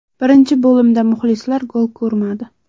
Birinchi bo‘limda muxlislar gol ko‘rmadi.